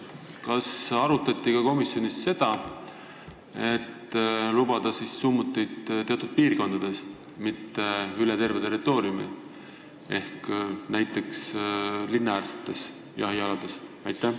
Kas komisjonis arutati ka seda, et lubada summuteid teatud piirkondades, mitte üle terve Eesti territooriumi, vaid näiteks linnaäärsetel jahialadel?